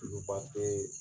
N bɛ